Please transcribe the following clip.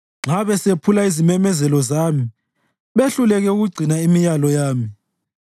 nxa besephula izimemezelo zami behluleke ukugcina imiyalo yami,